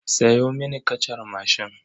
Sayo mini kacar mashin.